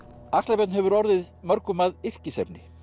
axlar Björn hefur orðið mörgum að yrkisefni